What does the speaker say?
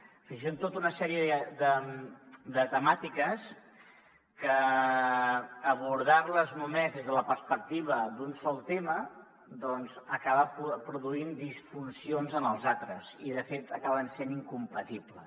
és a dir són tota una sèrie de temàtiques que abordar les només des de la perspectiva d’un sol tema doncs acaba produint disfuncions en els altres i de fet acaben sent incompatibles